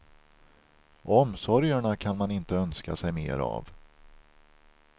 Omsorgerna kan man inte önska sig mer av.